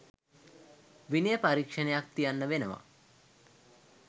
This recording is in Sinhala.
විනය පරීක්‍ෂණයක් තියන්න වෙනවා.